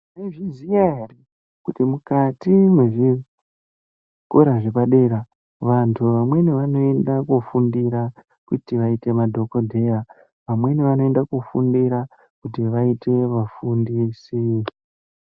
Tinozviziya eya kuti mukati mezvikora zvepadera vamweni vanoenda kofundira kuti vaite madhokodheya vamweni vanoinda kofundira kuti vaite mufundisi.